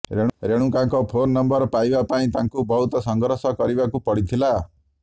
ରେଣୁକାଙ୍କ phone number ପାଇବା ପାଇଁ ତାଙ୍କୁ ବହୁତ ସଂଘର୍ଷ କରିବାକୁ ପଡିଥିଲା